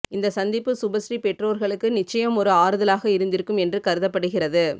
இந்த சந்திப்பு சுபஸ்ரீ பெற்றோர்களுக்கு நிச்சயம் ஒரு ஆறுதலாக இருந்திருக்கும் என்று கருதப்படுகிறது